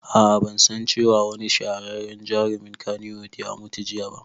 Aa ban san cewa wani shahararren jarumin kannywood ya mutu jiya ba